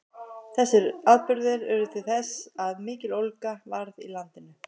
þessir atburðir urðu til þess að mikill ólga varð í landinu